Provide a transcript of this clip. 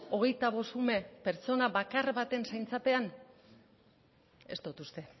hogeita bost ume pertsona bakar baten zaintzapean ez dut uste